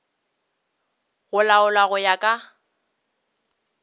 go laolwa go ya ka